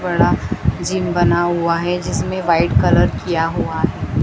बड़ा जिम बना हुआ है जिसमें व्हाइट कलर किया हुआ है।